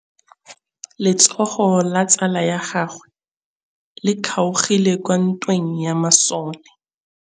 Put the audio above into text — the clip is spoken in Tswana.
Letsôgô la tsala ya gagwe le kgaogile kwa ntweng ya masole.